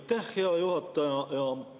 Aitäh, hea juhataja!